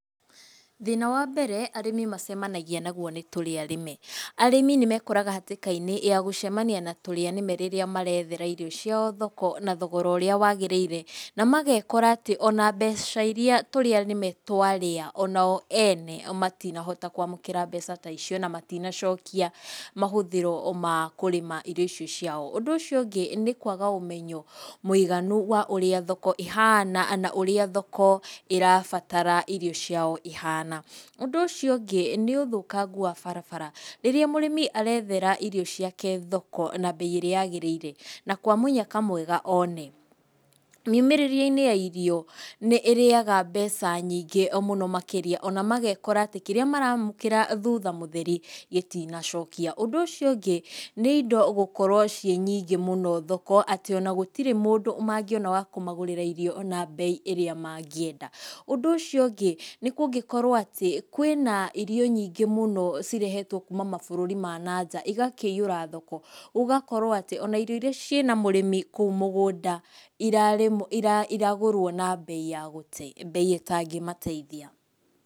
Thĩna wa mbere arĩmi macemanagia naguo nĩ tũrĩa rĩme, arĩmi nĩmekoraga hatĩka-inĩ ya gũcemania na tũrĩa nĩme rĩrĩa marethera irio ciao thoko na thogora ũrĩa wagĩrĩire, na magekora atĩ ona mbeca iria tũrĩa nĩme twarĩya, onao ene matinahota kwamũkĩra mbeca ta icio, na matinacokia mahũthĩro makũrĩma irio icio ciao, ũndũ ũcio ũngĩ, nĩ kwaga ũmenyo mwĩiganu wa ũrĩa thoko ĩhana, na ũrĩa thoko ĩrabatara irio ciao ihana, ũndũ ũcio ũngĩ nĩ ũthũkangu wa barabara, rĩrĩa mũrĩmi arethera irio ciake thoko na mbei ĩrĩa yagĩrĩire, na kwamũnyaka mwega one, mĩumĩrĩrie-inĩ wa irio nĩ ũrĩyaga mbeca nyingĩ mũno makĩria, ona magekora atĩ kĩra maramũkĩra thutha mũtheri gĩtinacokia, ũndũ ũcio ũngĩ, nĩ indo gũkorwo cĩnyingĩ mũno thoko, atĩ ona gũtirĩ mũndũ mangĩona wa kũmagũrĩra irio na mbei ĩrĩa mangĩenda, ũndũ ũcio ũngĩ, nĩ kũngĩkorwo atĩ kwĩna irio nyingĩ mũno cirehetwo kuuma maburũri ma nanja igakĩihũra thoko, gũgagĩkorwo atĩ ona irio iria cĩna mũrĩmi kũu mũgũnda irarĩmwo i i iragũrwo na mbei ya gũte, mbei ĩtangĩmateithia.